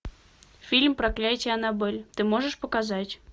фильм проклятие аннабель ты можешь показать